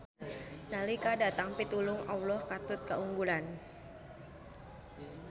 Nalika datang pitulung Alloh katut kaunggulan.